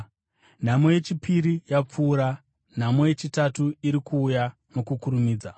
Nhamo yechipiri yapfuura; nhamo yechitatu iri kuuya nokukurumidza.